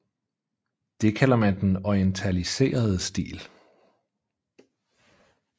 Det kalder man den orientaliserede stil